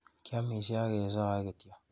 Kiamishe ak kesae kityo.